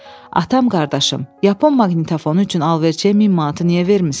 Atam-qardaşım, Yaponiya maqnitofonu üçün alverçiyə 1000 manatı niyə vermisən?